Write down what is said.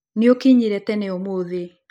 Nĩũkinyire tene ũmũthĩ.